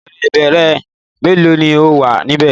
Apẹ̀rẹ̀ ìbẹ́pẹ mélòó ni ó wà níbẹ̀?